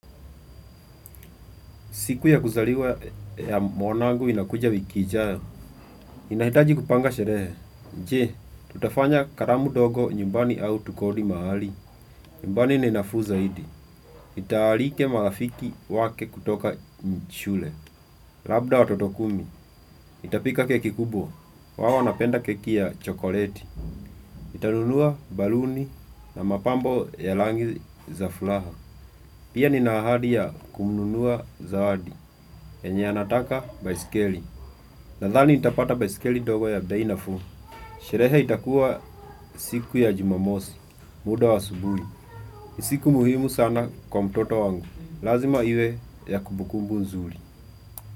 Siku ya kuzaliwa ya mwanangu inakuja wiki ijayo. Inahitaji kupanga sherehe. Nje, tutafanya karamu dogo nyumbani au tukodi mahali. Nyumbani ni nafuu zaidi. Ntaalike marafiki wake kutoka nshule. Labda watoto kumi. Nitapika keki kubwa. Wao wanapenda keki ya chokoleti. Ntanunua baluni na mapambo ya langi za fulaha. Pia nina ahadi ya kumnunua zawadi. Enye anataka baiskeli. Nadhani ntapata baisikeli ndogo ya bei nafuu. Sherehe itakuwa siku ya Jumamosi, muda wa asubuhi. Ni siku muhimu sana kwa mtoto wangu. Lazima iwe ya kubukumbu nzuri.